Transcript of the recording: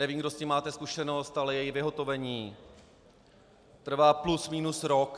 Nevím, kdo s tím máte zkušenost, ale její vyhotovení trvá plus minus rok.